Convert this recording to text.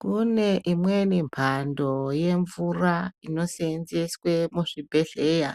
Kune imweni mhando yemvura inosenzeswa muzvibhedhlera